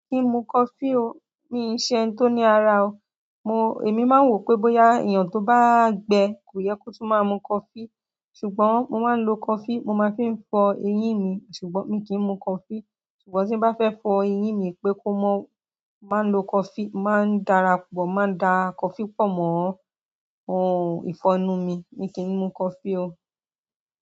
Mi kìí mu coffee o, mi ṣe ẹni tó ní ara o. Mo, èmi máa ń wò pé bóyá èèyàn tó bá gbe, kò yẹ kó tún má mu coffee. Ṣùgbọ́n mo máa ń lo coffee, mo máa fi fọ eyín mi, ṣùgbọ́n mí kí n mu coffee. Ṣùgbọ́n tí n bá fẹ́ fọ eyín mi pé kó máa lọ coffee, máa ń darapọ̀, máa dà coffee pọ̀ mọ́ ohun ìfọnu mi. Mi kìí n mu coffee o.